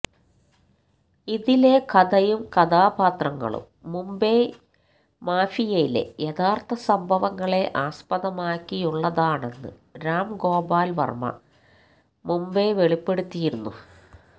ഇതിലെ കഥയും കഥാപാത്രങ്ങളും മുംബൈ മാഫിയിലെ യഥാര്ഥ സംഭവങ്ങളെ ആസ്പദമാക്കിയുള്ളതാണെന്ന് രാം ഗോപാല് വര്മ്മ മുമ്പെ വെളിപ്പെടുത്തിയിരുന്നു